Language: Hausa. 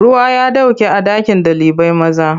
Ruwa ya ɗauke a ɗakin ɗalibai. maza.